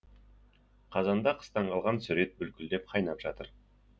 қазанда қыстан қалған сүр ет бүлкілдеп қайнап жатыр